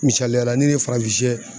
Misaliyala ne de ye farafin shɛ